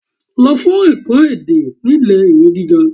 Lo fun eko ede nile iwe giga